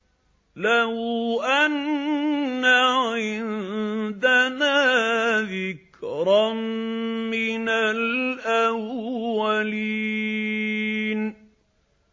لَوْ أَنَّ عِندَنَا ذِكْرًا مِّنَ الْأَوَّلِينَ